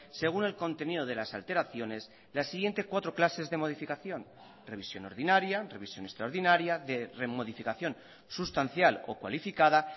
según el contenido de las alteraciones las siguiente cuatro clases de modificación revisión ordinaria revisión extraordinaria de remodificación sustancial o cualificada